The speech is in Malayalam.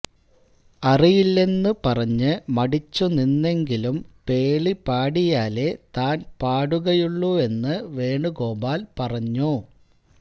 അറിയില്ലെന്ന് പറഞ്ഞ് മടിച്ചുനിന്നെങ്കിലും പേളി പാടിയാലേ താന് പാടുകയുള്ളൂവെന്ന് വേണുഗോപാല് പറഞ്ഞു